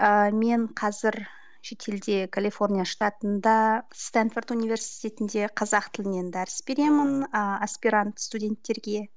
ыыы мен қазір шетелде калифорния штатында стэнфорд университетінде қазақ тілінен дәріс беремін ааа аспирант студенттерге